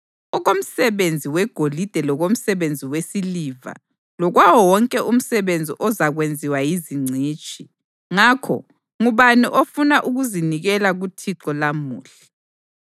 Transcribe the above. okomsebenzi wegolide lokomsebenzi wesiliva lokwawo wonke umsebenzi ozakwenziwa yizingcitshi. Ngakho, ngubani ofuna ukuzinikela kuThixo lamuhla?”